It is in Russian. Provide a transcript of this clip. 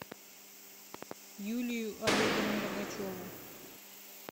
юлию олеговну рогачеву